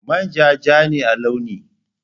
Manja ja ne a launi.